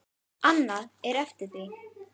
Annað er eftir því.